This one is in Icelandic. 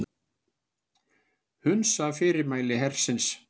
Hunsa fyrirmæli hersins